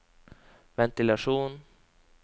ventilasjon